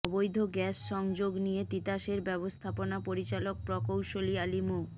অবৈধ গ্যাস সংযোগ নিয়ে তিতাসের ব্যবস্থাপনা পরিচালক প্রকৌশলী আলী মো